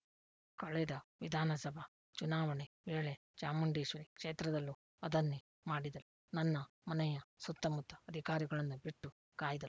ಕಳೆದ ವಿಧಾನಸಭಾ ಚುನಾವಣೆ ವೇಳೆ ಚಾಮುಂಡೇಶ್ವರಿ ಕ್ಷೇತ್ರದಲ್ಲೂ ಅದನ್ನೇ ಮಾಡಿದರು ನನ್ನ ಮನೆಯ ಸುತ್ತಮುತ್ತ ಅಧಿಕಾರಿಗಳನ್ನು ಬಿಟ್ಟು ಕಾಯ್ದರು